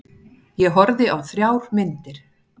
Ég horfði á þrjár myndir.